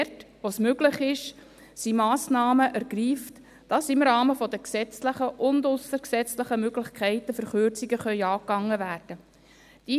Dort, wo es möglich ist, wird sie Massnahmen ergreifen, damit im Rahmen der gesetzlichen und aussergesetzlichen Möglichkeiten Verkürzungen angegangen werden können.